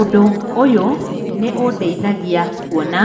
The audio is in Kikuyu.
Ũndũ ũyũ nĩ ũndeithagia kuona